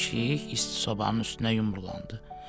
Pişik isti sobanın üstünə yumrulanırdı.